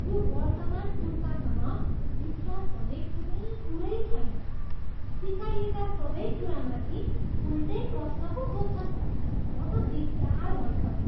यो वर्तमान पुस्तासँग विश्वास भन्ने कुनै कुरै छैन। सिकाइएका सबै कुरामाथि उल्टै प्रश्न पो सोध्छन्। म त दिकदार भइसकेँ।